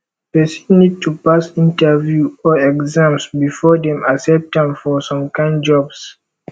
persin need to pass interview or exams before dem accept am for some kind jobs